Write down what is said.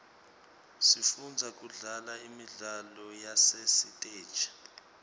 sifunza kudlala imidlalo yasesiteji